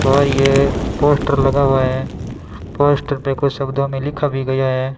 बाहर ये पोस्टर लगा हुआ है पोस्टर पे कुछ शब्दों में लिखा भी गया है।